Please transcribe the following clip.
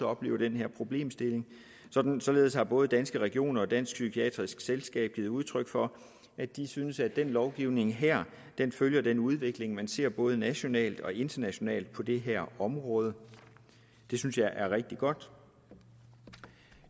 oplever den her problemstilling således har både danske regioner og dansk psykiatrisk selskab givet udtryk for at de synes at den lovgivning her følger den udvikling man ser både nationalt og internationalt på det her område det synes jeg er rigtig godt